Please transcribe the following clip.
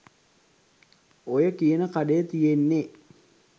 ඔය කියන කඩේ තියෙන්නේ